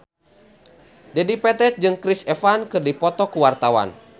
Dedi Petet jeung Chris Evans keur dipoto ku wartawan